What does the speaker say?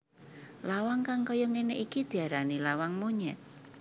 Lawang kang kaya ngene iki diarani lawang monyet